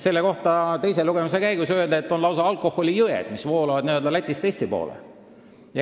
Selle kohta öeldi teisel lugemisel, et lausa alkoholijõed voolavad Lätist Eesti poole.